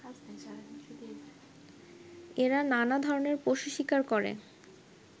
এরা নানাধরনের পশু শিকার করে